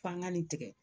F'an ga nin tigɛ